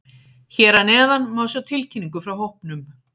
Hér að neðan má sjá tilkynningu frá hópnum.